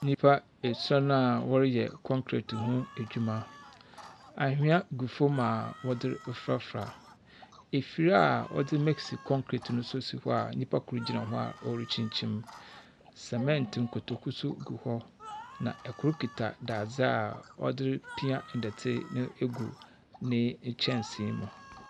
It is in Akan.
Nnipa esɔn a wɔreyɛ concrete ho adwuma. Ahwea gu fam a wɔdze refrafra. Efir a wɔdze mix concrete nso si hɔ a nnipa kor gyina hɔ a ɔrekyinkyim. Cement nkotoku nso gu hɔ, na kor kita dadze a ɔde repia ndɛte no egu ne kyɛnse mu.